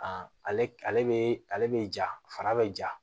ale bɛ ale bɛ ja fara bɛ ja